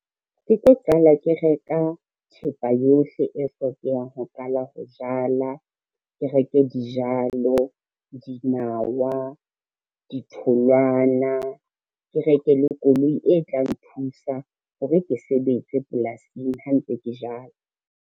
Ke tlo qala ke reka thepa yohle e hlokehang ho qala ho jala. Ke reke dijalo, dinawa, ditholwana, ke reke le koloi e tla nthusa hore ke sebetse polasing ha ntse ke jala.